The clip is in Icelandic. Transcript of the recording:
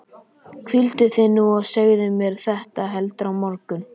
Hvíldu þig nú og segðu mér þetta heldur á morgun.